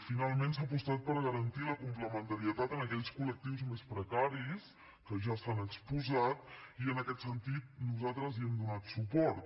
finalment s’ha apostat per garantir la complementarietat en aquells col·lectius més precaris que ja s’han exposat i en aquest sentit nosaltres hi hem donat suport